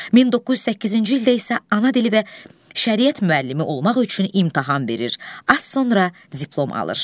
1908-ci ildə isə ana dili və şəriət müəllimi olmaq üçün imtahan verir, az sonra diplom alır.